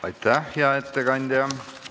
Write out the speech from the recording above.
Aitäh, hea ettekandja!